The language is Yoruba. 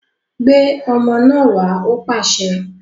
Gbé ọmọ náà wá! Ó pàṣẹ